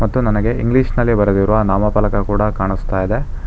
ಮತ್ತು ನನಗೆ ಇಂಗ್ಲಿಷ್ ನಲ್ಲಿ ಬರೆದಿರುವ ನಾಮಪಲಕ ಕೂಡ ಕಾಣಿಸ್ತಾ ಇದೆ.